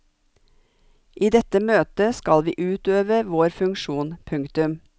I dette møtet skal vi utøve vår funksjon. punktum